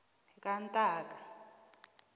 kantaka